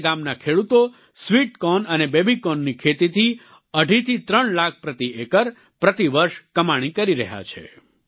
આજે ગામના ખેડૂતો સ્વિટ કોર્ન અને બેબી કોર્નની ખેતીથી અઢી થી ત્રણ લાખ પ્રતિ એકર પ્રતિ વર્ષ કમાણી કરી રહ્યા છે